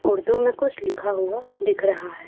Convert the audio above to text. उर्दू में कुछ लिखा हुआ दिख रहा है।